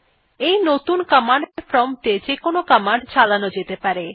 এই নতুন command prompt এ যেকোনো কমান্ড চালানো যেতে পারে